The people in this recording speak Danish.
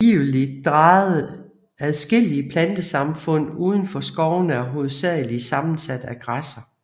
Adskillige plantesamfund uden for skovene er hovedsageligt sammensat af græsser